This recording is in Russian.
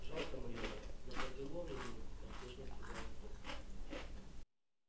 жалко майора но поделом ему поспешно сказал скотт